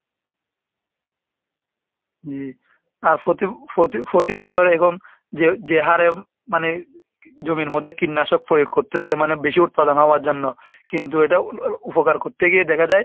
জি আর প্রতি~ প্রতি~ প্রতিবছর এবং যে যে হারে মানে জমির মধ্যে কীটনাশক প্রয়োগ করতেসে মানে বেশি উৎপাদন হবার জন্য কিন্তু এটা উপকার করতে গিয়ে দেখা যায়